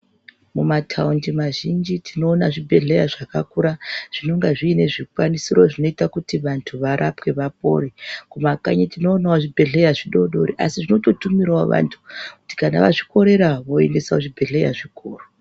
Mumataundi mazhinji tinoona zvibhehleya zvakakura zvinoga zvine zvikwanisiro zvinoita kuti vantu varapwe vapore kumakanyi tinoonawo zvibhehleya zvidodori asi zvinototumirawo vantu kuti kana vazvikorera voenda kuzvibhehleya zvikuru.